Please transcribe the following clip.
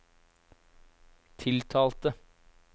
tiltalte